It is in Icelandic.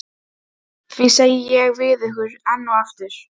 Því segi ég við ykkur enn og aftur